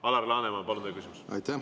Alar Laneman, palun, teie küsimus!